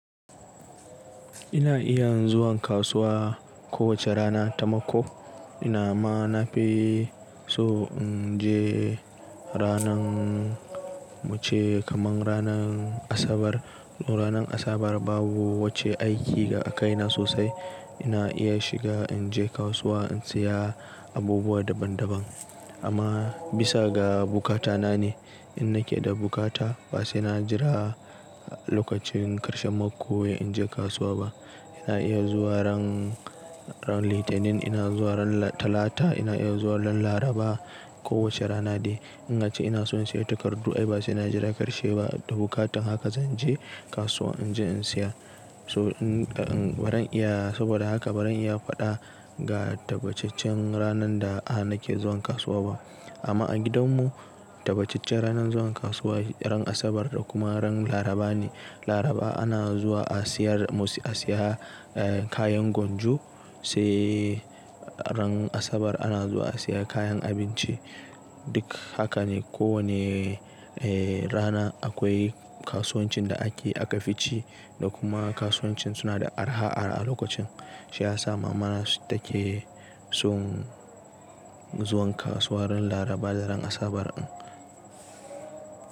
Ina iya zuwan kasuwa kowace rana ta mako. Ina ma na fi so in je ranan muce kaman ranan Asabar. To ranan Asabar babu wace aiki a kaina sosai. Ina iya shiga in je kasuwa in seya abubuwa daban daban. Amma bisa ga buƙata na ne. In nake da buƙata ba sai na jira lokacin karshen mako in je kasuwa ba. Ina iya zuwa ran litinin, ina zuwa ran Talata, ina iya zuwa ran Laraba, ko woce rana dai. In ace ina son siya takardu ai ba sai na jira karshe ba. Da buƙatan haka zan je kasuwa inji in seya. To in baran iya saboda haka baran iya fada ga tabacaccen ranan da a nake zuwan kasuwa ba. Amma a gidan mu tabba ce-cen ranan zuwa kasuwa ranan asabar da kuma ranan laraba ne laraba ana zuwa a seya kayan gonjo sai ran asabar ana zuwa a seya kayan abinci. Duk haka ne ko wanne eh rana akoi kasuwancin da akafi shi da kuma kasuwancin suna da arha lokacin shiyasa mamana tanason zuwan kasuwa ran laraba da ran asabar ɗin.